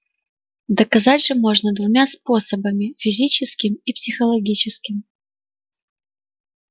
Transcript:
доказать же можно двумя способами физическим и психологическим